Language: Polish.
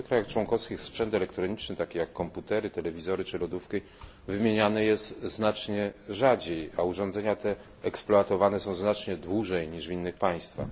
W nowych krajach członkowskich sprzęt elektroniczny, taki jak komputery, telewizory czy lodówki, wymieniany jest znacznie rzadziej, a urządzenia te są eksploatowane znacznie dłużej niż w innych państwach.